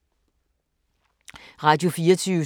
Radio24syv